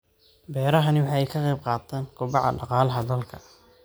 Beerahani waxa ay ka qayb qaataan kobaca dhaqaalaha dalka.